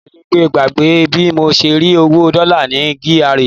Mi ò lè gbàgbé bí mo ṣe rí owó Dollar ní GRA.